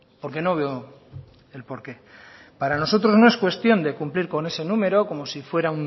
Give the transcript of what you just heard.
porque no veo el porqué para nosotros no es cuestión de cumplir con ese número como si fuera